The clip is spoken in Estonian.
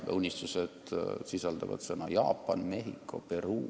Need unistused sisaldavad sõnu "Jaapan", "Mehhiko", "Peruu".